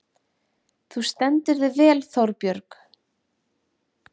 Þú stendur þig vel, Þórbjörg!